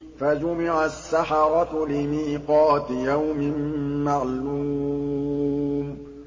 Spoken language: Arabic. فَجُمِعَ السَّحَرَةُ لِمِيقَاتِ يَوْمٍ مَّعْلُومٍ